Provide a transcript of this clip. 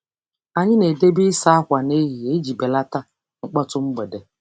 Anyị na-edebe ịsa ákwà nehihie iji belata mkpọtụ mgbede.